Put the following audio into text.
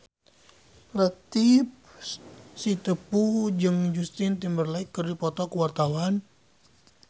Latief Sitepu jeung Justin Timberlake keur dipoto ku wartawan